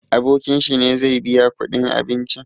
Abokin shi ne zai biya kuɗin abincin.